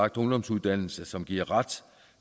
ungdomsuddannelse som giver ret